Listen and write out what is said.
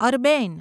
Arbaeen